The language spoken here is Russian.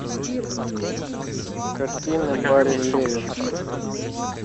картины барри левинсона